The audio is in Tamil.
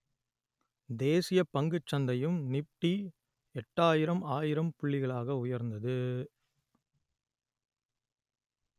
தேசிய பங்குச் சந்தையும் நிப்டி எட்டாயிரம் ஆயிரம் புள்ளிகளாக உயர்ந்தது